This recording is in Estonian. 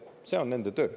See on nende töö.